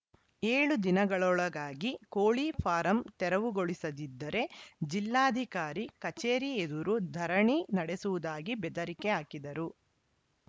ಏಳು ದಿನಗಳೊಳಗಾಗಿ ಕೋಳಿ ಫಾರಂ ತೆರವುಗೊಳಿಸದಿದ್ದರೆ ಜಿಲ್ಲಾಧಿಕಾರಿ ಕಚೇರಿ ಎದುರು ಧರಣಿ ನಡೆಸುವುದಾಗಿ ಬೆದರಿಕೆ ಹಾಕಿದರು